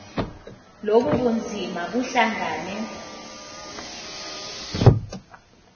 lobu bunzima buhlangane